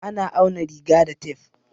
A na auna riga da tef.